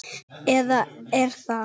Eða er það?